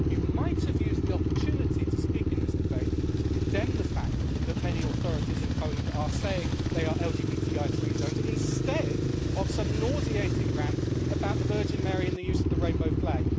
You might have used the opportunity to speak in this debate to condemn the fact that many authorities in Poland are saying they are LGBTI free zones, instead of some nauseating rant about the Virgin Mary and the use of the rainbow flag.